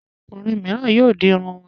Àwọn ọkùnrin mìíràn yóò di irun wọn.